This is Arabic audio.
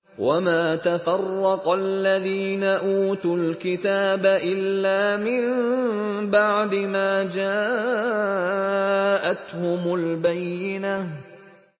وَمَا تَفَرَّقَ الَّذِينَ أُوتُوا الْكِتَابَ إِلَّا مِن بَعْدِ مَا جَاءَتْهُمُ الْبَيِّنَةُ